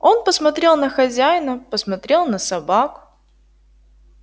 он посмотрел на хозяина посмотрел на собак